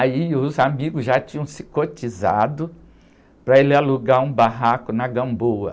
Aí os amigos já tinham se cotizado para ele alugar um barraco na Gamboa.